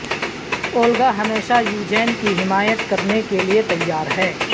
Olga ہمیشہ Eugene کی حمایت کرنے کے لئے تیار ہے